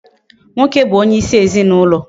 Nwoke bu onye isi ezinaulo